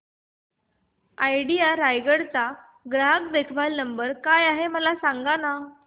idea Raigad चा ग्राहक देखभाल नंबर काय आहे मला सांगाना